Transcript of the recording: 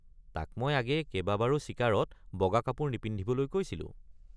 তাক মই আগেয়ে কেবাবাৰো চিকাৰত বগা কাপোৰ নিপিন্ধিবলৈ কৈছিলোঁ।